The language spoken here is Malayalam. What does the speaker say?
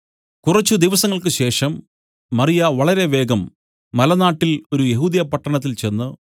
കുറച്ച് ദിവസങ്ങൾക്ക് ശേഷം മറിയ വളരെ വേഗം മലനാട്ടിൽ ഒരു യെഹൂദ്യപട്ടണത്തിൽ ചെന്ന്